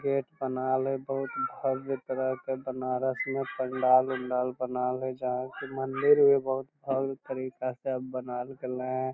Gate बनाल है बहुत भव्य तरह के बनारस में पण्डाल - उण्डाल बनाल है जहाँ के मंदिर भी बहुत भव्य तरीका से बनाइल गइल है ।